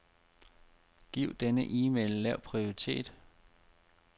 Giv denne e-mail lav prioritet.